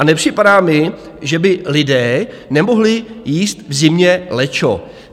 A nepřipadá mi, že by lidé nemohli jíst v zimě lečo.